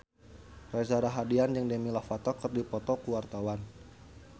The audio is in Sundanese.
Reza Rahardian jeung Demi Lovato keur dipoto ku wartawan